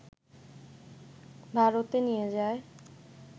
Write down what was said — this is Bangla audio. ভারতে নিয়ে যায়